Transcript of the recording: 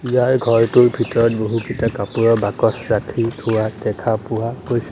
ইয়াৰ ঘৰটোৰ ভিতৰত বহুত কেইটা কাপোৰৰ বাকচ ৰাখি থোৱা দেখা পোৱা গৈছে।